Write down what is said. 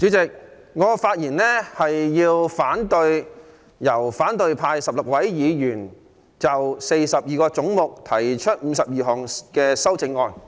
主席，我發言反對由反對派16位議員就42個總目提出的52項修正案。